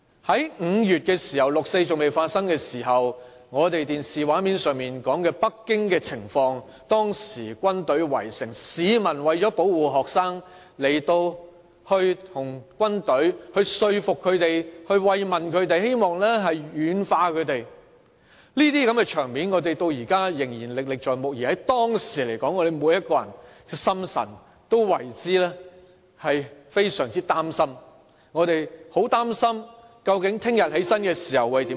在5月，當時六四事件尚未發生，電視畫面上播放着北京的情況，軍隊圍城，市民為了保護學生，想說服軍隊，慰問他們，希望能夠軟化他們，這些場面我們至今仍然歷歷在目，而當時我們每個人的心裏都非常擔心，很擔心明天起床會變成怎樣。